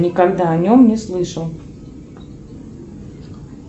никогда о нем не слышал